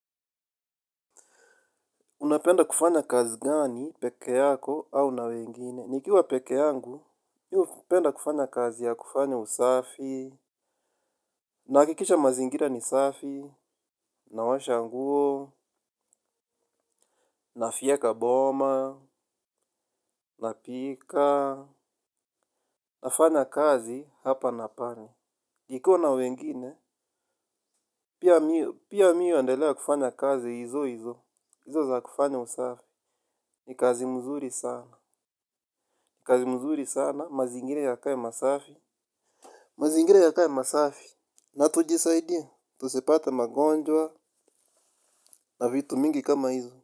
Unapenda kufanya kazi gani pekee yako au na wengine? Nikiwa pekee yangu, mi hupenda kufanya kazi ya kufanya usafi, nahakikisha mazingira ni safi, naosha nguo, nafyeka boma, napika, nafanya kazi hapa na pale. Nikiwa na wengine, pia mi huendelea kufanya kazi hizo hizo, hizo za kufanya usafi, ni kazi mzuri sana. Kazi mzuri sana, mazingira yakae masafi. Mazingira yakae masafi. Na tujisaidie. Tusipate magonjwa na vitu mingi kama hizo.